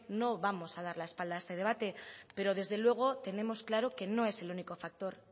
no vamos a dar la espalda a este debate pero desde luego tenemos claro que no es el único factor